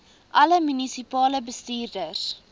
alle munisipale bestuurders